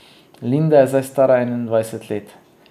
Linda je zdaj stara enaindvajset let.